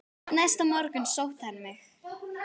Næsta morgun sótti hann mig.